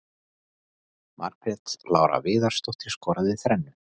Margrét Lára Viðarsdóttir skoraði þrennu.